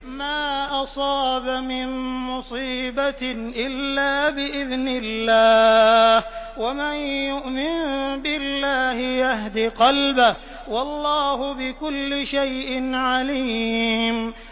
مَا أَصَابَ مِن مُّصِيبَةٍ إِلَّا بِإِذْنِ اللَّهِ ۗ وَمَن يُؤْمِن بِاللَّهِ يَهْدِ قَلْبَهُ ۚ وَاللَّهُ بِكُلِّ شَيْءٍ عَلِيمٌ